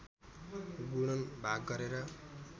गुणन भाग गरेर